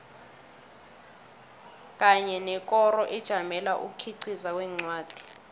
kanye nekoro ejamele ukukhiqiza kwencwadi